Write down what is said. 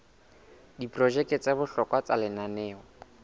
diprojeke tsa bohlokwa tsa lenaneo